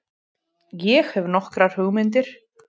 Ég hefi nokkrar hugmyndir.